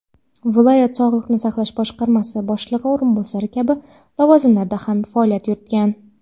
viloyat sog‘liqni saqlash boshqarmasi boshlig‘i o‘rinbosari kabi lavozimlarda ham faoliyat yuritgan.